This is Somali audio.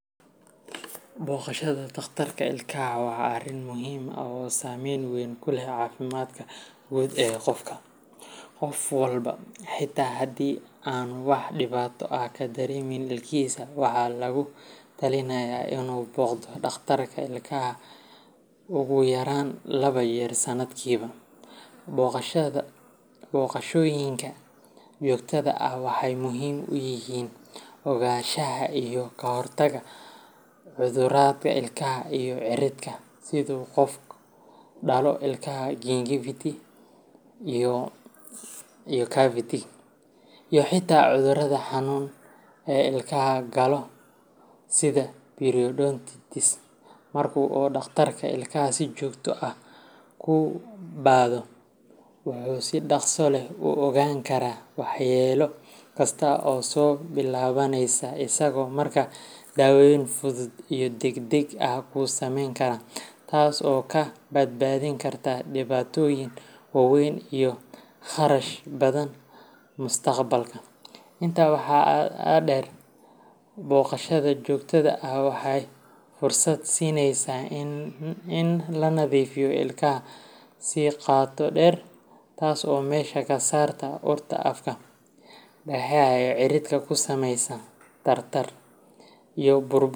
Boogashada dhakhtarka ilkaha waa arrin muhiim ah oo saameyn weyn ku leh caafimaadka guud ee qofka. Qof walba, xitaa haddii aanu wax dhibaato ah ka dareemayn ilkihisa, waxaa lagula talinayaa inuu booqdo dhakhtarka ilkaha ugu yaraan laba jeer sanadkiiba. Booqashooyinkan joogtada ah waxay muhiim u yihiin ogaanshaha iyo ka hortagga cudurrada ilkaha iyo cirridka sida qufac daloolka cavity, caabuqa ciridka gingivitis, iyo xitaa cudurrada xunxun ee ilkaha galaafto sida periodontitis. Marka uu dhakhtarka ilkaha si joogto ah kuu baadho, wuxuu si dhaqso leh u ogaan karaa waxyeello kasta oo soo billaabanaysa, isagoo markaa daawayn fudud iyo degdeg ah kuu samayn kara, taas oo kaa badbaadin karta dhibaatooyin waaweyn iyo kharash badan mustaqbalka. Intaa waxaa dheer, booqashada joogtada ah waxay fursad siinaysaa in la nadiifiyo ilkaha si qoto dheer, taas oo meesha ka saarta urta afka, dhagaxa cirridka ku samaysa tartarka, iyo burburka.